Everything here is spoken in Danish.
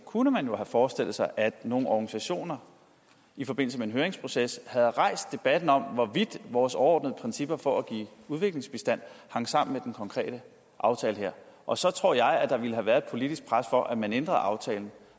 kunne man jo have forestillet sig at nogle organisationer i forbindelse med en høringsproces havde rejst debatten om hvorvidt vores overordnede principper for at give udviklingsbistand hang sammen med den konkrete aftale her og så tror jeg der ville have været et politisk pres for at man ændrede aftalen